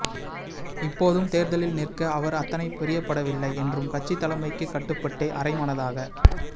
இப்போதும் தேர்தலில் நிற்க அவர் அத்தனைப் பிரியப்படவில்லை என்றும் கட்சி தலைமைக்கு கட்டுபட்டே அரை மனதாக